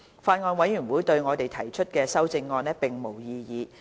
法案委員會對我們提出的修正案並無異議。